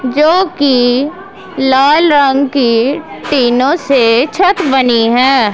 जो की लाल रंग की टीनो से छत बनी है।